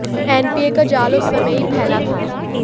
NPA का जाल उस समय में ही फैला था